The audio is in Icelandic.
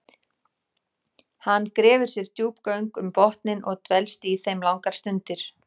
Hann grefur sér djúp göng um botninn og dvelst í þeim langar stundir.